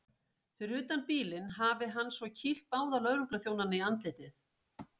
Fyrir utan bílinn hafi hann svo kýlt báða lögregluþjónana í andlitið.